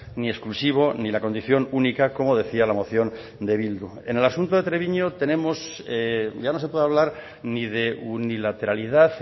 ni exclusivo ni la condición única como decía la moción de bildu en el asunto de treviño tenemos ya no se puede hablar ni de unilateralidad